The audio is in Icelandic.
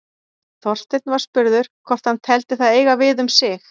Þorsteinn var spurður hvort hann teldi það eiga við um sig.